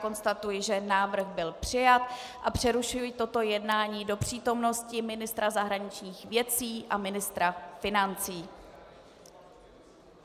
Konstatuji, že návrh byl přijat, a přerušuji toto jednání do přítomnosti ministra zahraničních věcí a ministra financí.